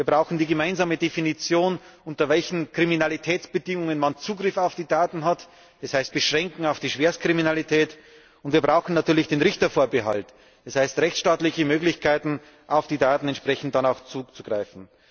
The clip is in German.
Wir brauchen die gemeinsame Definition, unter welchen Kriminalitätsbedingungen man Zugriff auf die Daten hat das heißt Beschränkung auf die Schwerstkriminalität und wir brauchen natürlich den Richtervorbehalt, das heißt rechtsstaatliche Möglichkeiten, auf die Daten dann auch entsprechend zuzugreifen.